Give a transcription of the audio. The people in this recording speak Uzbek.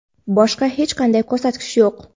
boshqa hech qanday ko‘rsatkich yo‘q.